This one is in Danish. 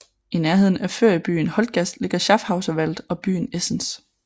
I nærheden af feriebyen Holtgast ligger Schafhauser Wald og byen Esens